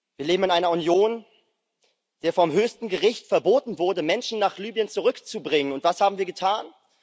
Wir leben in einer Union, der vom höchsten Gericht verboten wurde, Menschen nach Libyen zurückzubringen, und was haben wir getan?